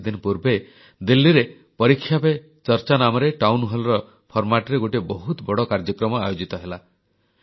କିଛିଦିନ ପୂର୍ବେ ଦିଲ୍ଲୀରେ ପରୀକ୍ଷା ପେ ଚର୍ଚ୍ଚା ନାମରେ ଟାଉନ୍ Hallର Formatରେ ଗୋଟିଏ ବହୁତ ବଡ଼ କାର୍ଯ୍ୟକ୍ରମ ଆୟୋଜିତ ହେଲା